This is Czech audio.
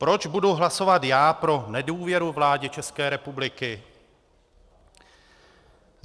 Proč budu hlasovat já pro nedůvěru vládě České republiky?